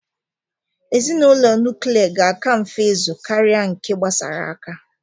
Ezinaụlọ nukle ga-aka mfe ịzụ karị nke gbasara aka.